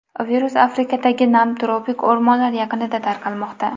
Virus Afrikadagi nam tropik o‘rmonlar yaqinida tarqalmoqda.